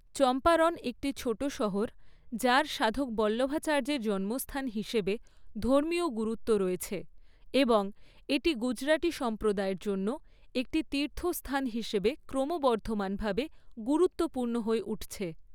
চম্পারন একটি ছোট শহর, যার সাধক বল্লভাচার্যের জন্মস্থান হিসেবে, ধর্মীয় গুরুত্ব রয়েছে, এবং এটি গুজরাটি সম্প্রদায়ের জন্য একটি তীর্থস্থান হিসাবে ক্রমবর্ধমানভাবে গুরুত্বপূর্ণ হয়ে উঠছে।